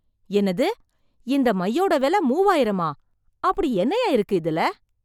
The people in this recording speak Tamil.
என்னது! இந்த மையோட விலை மூவாயிரமா! அப்படி என்னய்யா இருக்கு இதுல?!